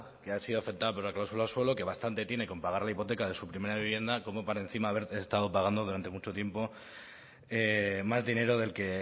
que ha sido afectada por la cláusula suelo que bastante tiene con pagar la hipoteca de su primera vivienda como para encima haber estado pagando durante mucho tiempo más dinero del que